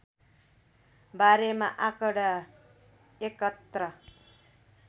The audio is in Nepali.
बारेमा आँकडा एकत्र